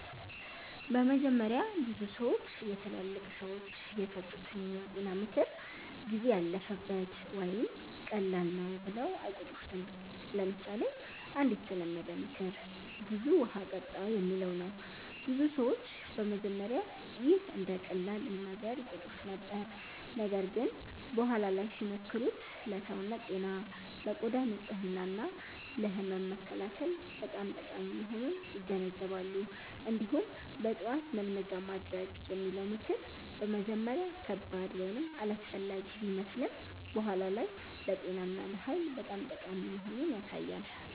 በመጀመሪያ ብዙ ሰዎች የትላልቅ ሰዎች የሰጡትን የጤና ምክር “ጊዜ ያለፈበት” ወይም “ቀላል ነው” ብለው አይቆጥሩትም። ለምሳሌ አንድ የተለመደ ምክር “ብዙ ውሃ ጠጣ” የሚለው ነው። ብዙ ሰዎች በመጀመሪያ ይህን እንደ ቀላል ነገር ይቆጥሩት ነበር፣ ነገር ግን በኋላ ላይ ሲሞክሩት ለሰውነት ጤና፣ ለቆዳ ንጽህና እና ለህመም መከላከል በጣም ጠቃሚ መሆኑን ይገነዘባሉ። እንዲሁም “በጠዋት መልመጃ ማድረግ” የሚለው ምክር በመጀመሪያ ከባድ ወይም አላስፈላጊ ቢመስልም በኋላ ላይ ለጤና እና ለኃይል በጣም ጠቃሚ መሆኑን ያሳያል።